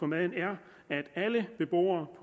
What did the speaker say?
maden er at alle beboere